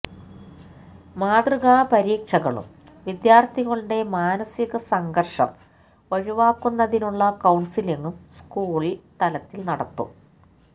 മാതൃകാപരീക്ഷകളും വിദ്യാര്ഥികളുടെ മാനസികസംഘര്ഷം ഒഴിവാക്കുന്നതിനുള്ള കൌണ്സലിങ്ങും സ്കൂള് തലത്തില് നടത്തും